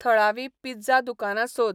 थळावी पिझ्झा दुकानां सोद